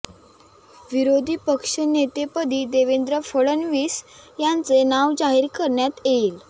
विरोधी पक्षनेतेपदी देवेंद्र फडणवीस यांचे नाव जाहीर करण्यात येईल